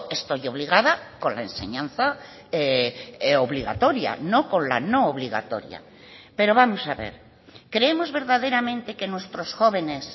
estoy obligada con la enseñanza obligatoria no con la no obligatoria pero vamos a ver creemos verdaderamente que nuestros jóvenes